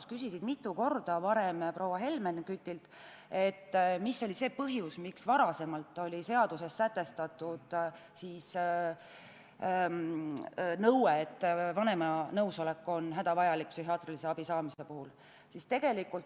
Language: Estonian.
Sa küsisid ennist mitu korda proua Helmen Kütilt, mis oli see põhjus, miks varem oli seaduses sätestatud nõue, et vanema nõusolek on psühhiaatrilise abi saamise puhul hädavajalik.